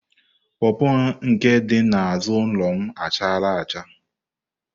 pọọpọ nke dị n'azụ ụlọ m chara acha.